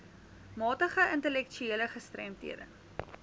matige intellektuele gestremdhede